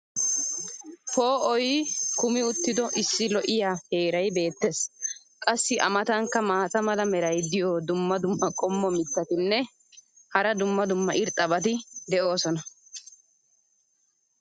poo"oy kummi uttido issi lo'iya heeray beetees. qassi a matankka maata mala meray diyo dumma dumma qommo mitattinne hara dumma dumma irxxabati de'oosona.